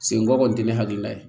Senko kɔni tɛ ne hakilina ye